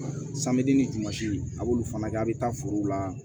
ni jumasi a b'olu fana kɛ a bɛ taa forow la